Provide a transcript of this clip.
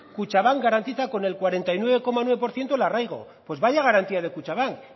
kutxanbank garantiza con el cuarenta y nueve coma nueve por ciento el arraigo pues vaya garantía de kutxabank